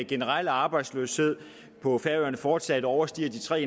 generelle arbejdsløshed på færøerne fortsat overstiger de tre